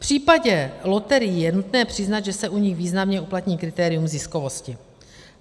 V případě loterií je nutné přiznat, že se u nich významně uplatní kritérium ziskovosti.